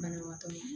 Banabagatɔ